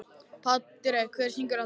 Patrek, hver syngur þetta lag?